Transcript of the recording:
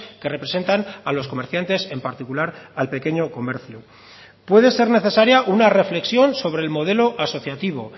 que representan a los comerciantes en particular al pequeño comercio puede ser necesaria una reflexión sobre el modelo asociativo